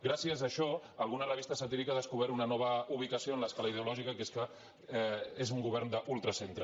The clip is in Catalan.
gràcies a això alguna revista satírica ha descobert una nova ubicació en l’escala ideològica que és que és un govern d’ultracentre